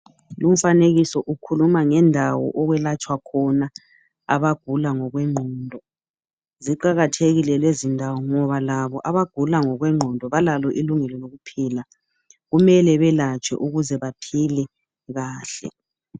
Umfanekiso ukhuluma ngendawo okwelatshwa khona abagula ngokwenqondo, ziqakathekile lezindawo ngoba labo abagula ngokwenqondo balalo ilungelo lokuphila, kumele belatshwe ukuze baphile kahle.